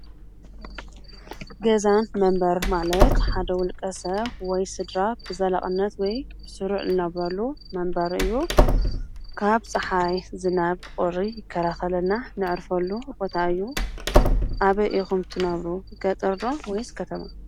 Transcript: ገዛ መንበሪ ማለት ሓደ ዉልቀ ሰብ ወይ ስድራ ንዘላቅነት ወይ ስሩዕ ዝነብረሉ መንበሪ እዩ። ካብ ፀሓይ ፣ዝናብ ፣ቁሪ ይከላከለልና ነዕርፈሉ ቦታ እዩ። ኣበይ ኢኩም ትነብሩ ገጠር ዶ ወይስ ከተማ?